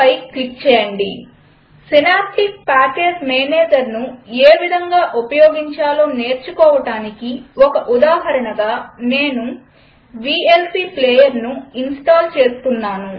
synaptic package managerసినాప్టిక్ package మేనేజర్ను ఏ విధంగా ఉపయోగించాలో నేర్చుకోవడానికి ఒక ఉదాహరణగా నేను వీఎల్సీ ప్లేయర్ ఇన్స్టాల్ చేస్తాను